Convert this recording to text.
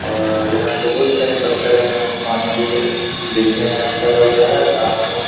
और यहाँ पे बहुत सारे पत्थर हैं और पानी भी है। देखने में अच्छा लग रहा है। घास उस --